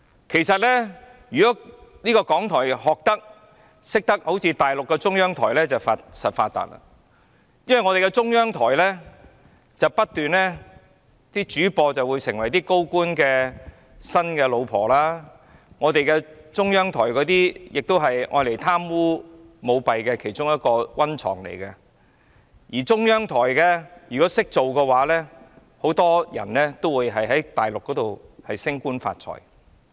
其實，如果港台懂得學習大陸的中央台便必定"發達"，因為中央台的主播會成為高官的新任妻子，中央台也是用來貪污及舞弊的其中一個溫床，而中央台的人員如果"識做"，很多人都會在大陸升官發財。